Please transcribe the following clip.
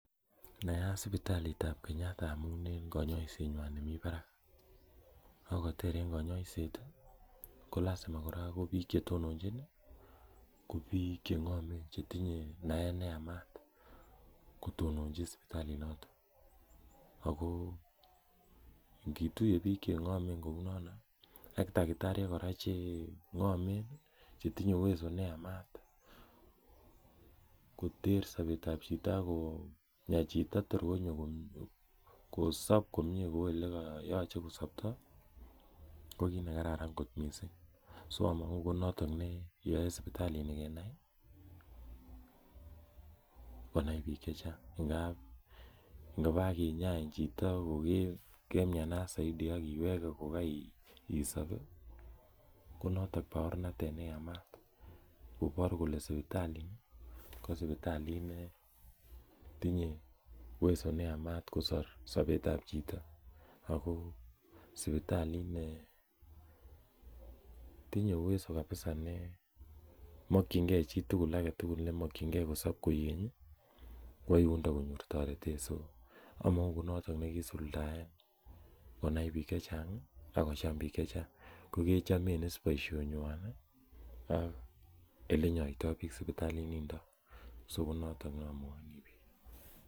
Naat sipitalit ab Kenyatta amun en konyoisenwan nemi barak, ak koter en konyoiset ii kolasima kora ko biik chetononchin ii ko biik cheng'omen chetinye naet neyamat kotononchi sipitalit noton, ago ingituye biik cheng'omen kounono ak takitaryek kora cheng'omen ii, chetinye uweso neyamat koter sobet ab chito ak konya chito kotorkonyo kosob konyee kou olekoyoche kosobto ko kiit nekararan kot missing, so omong'u ko noton neyoe sipitalini kenai, konai biik chechang ng'ab ingokakinyai chito kokemnyanat soidi ak iwege kokoisob ii konoton baornatet neyamat, kobor kole sipitalini ko sipitalit netinye uweso neyamat kosor sobet ab chito, ako sipitalit netinye uweso kabiza nemokyingen chitugul agetugul nemokyingen kosob koigeny ii kwo yundo konyor toretet so among'u konoton nekisuldaen konai biik chechang' ii ak kocham biik chechang',ko kwchome is boisienywan ii ak olenyoito biik sipitalinindo so ko noton nomwoini biik.